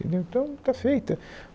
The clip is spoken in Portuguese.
Então, está feita.